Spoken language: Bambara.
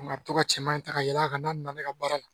Nka a bɛ to ka cɛman ta ka yɛlɛ a kan n'a nana ne ka baara la